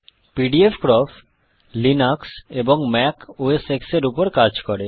pdfcrop Linux এবং Mac OS X এর উপর কাজ করে